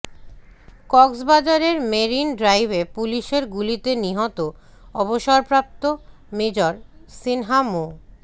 কক্সবাজারের মেরিন ড্রাইভে পুলিশের গুলিতে নিহত অবসরপ্রাপ্ত মেজর সিনহা মো